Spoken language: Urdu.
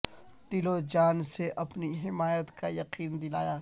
دل و جان سے اپنی حمایت کا یقین دلایا